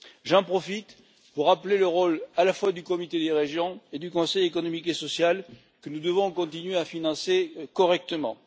J'en profite pour rappeler le rôle à la fois du Comité des régions et du Conseil économique et social, que nous devons continuer à financer correctement.